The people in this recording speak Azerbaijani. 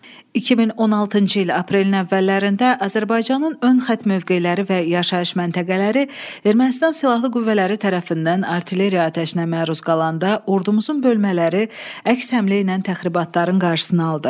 2016-cı il aprelin əvvəllərində Azərbaycanın ön xətt mövqeləri və yaşayış məntəqələri Ermənistan Silahlı Qüvvələri tərəfindən artilleriya atəşinə məruz qalanda ordumuzun bölmələri əks həmlə ilə təxribatların qarşısını aldı.